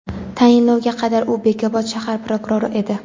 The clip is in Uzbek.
Tayinlovga qadar u Bekobod shahar prokurori edi.